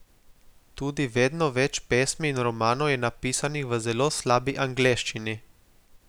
Tudi vedno več pesmi in romanov je napisanih v zelo slabi angleščini.